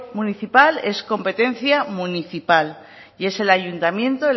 municipal es competencia municipal y es el ayuntamiento